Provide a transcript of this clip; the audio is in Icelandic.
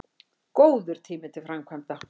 Góður tími til framkvæmda